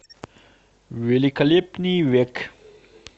великолепный век